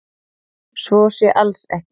Svo sé alls ekki